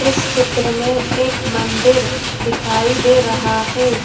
इस चित्र में एक मंदिर दिखाई दे रहा हैं।